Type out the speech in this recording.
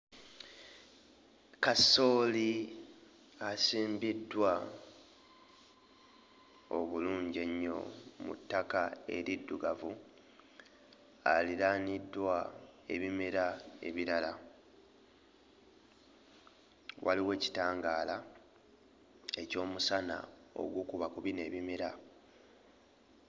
Kasooli asimbiddwa obulungi ennyo mu ttaka eriddugavu alinaaniddwa ebimera ebirala, waliwo kitangaala eky'omusana ogukuba ku bino ebimera.